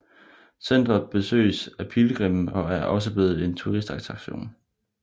Centret besøges af pilgrimme og er også blevet en turistattraktion